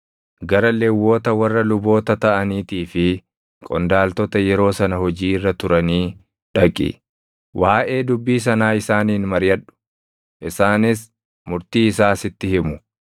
Gara Lewwota warra luboota taʼaniitii fi qondaaltota yeroo sana hojii irra turanii dhaqi. Waaʼee dubbii sanaa isaaniin mariʼadhu; isaanis murtii isaa sitti himu.